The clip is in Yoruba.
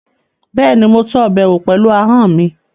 Bẹ́ẹ̀ni, mo tọ́ ọbẹ̀ wò pẹ̀lú ahọ́n mi